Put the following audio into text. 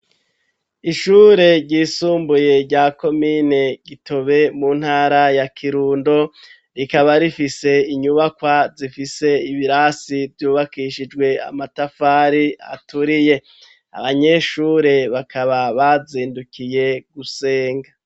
Ishure ryisumbuye, rya komine Gitobe, mu ntara ya Kirundo, rikaba rifise inyubakwa, zifise ibirasi, vyubakishijwe amatafari, aturiye; abanyeshure bakaba, bazindukiye gusenga.